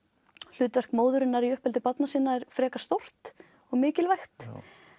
hlutverk móðurinnar í uppeldi barna sinna er frekar stórt og mikilvægt